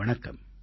வணக்கம்